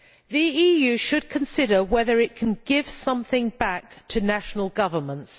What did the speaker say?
The EU should consider whether it can give something back to national governments.'